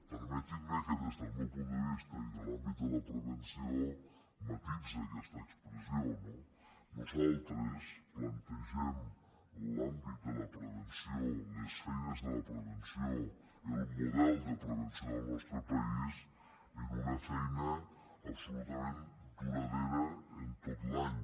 permetin·me que des del meu punt de vis·ta i de l’àmbit de la prevenció matisi aquesta expres·sió no nosaltres plantegem l’àmbit de la prevenció les feines de la prevenció el model de prevenció del nostre país en una feina absolutament duradora en tot l’any